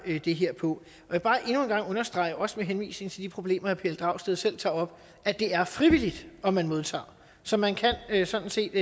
det her på må jeg bare endnu en gang understrege også med henvisning til de problemer herre pelle dragsted selv tager op at det er frivilligt om man modtager så man kan sådan set